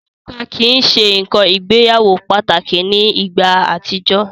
Òrùka kii ṣe nkan ìgbéyàwó pataki ni igba atijọ.